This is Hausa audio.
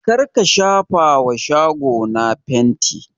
Kar ka shafa ma shago na fanti!